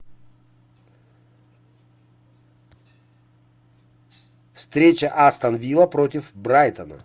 встреча астон вилла против брайтон